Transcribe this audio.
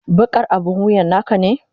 Bakar abin wuyan naka ne?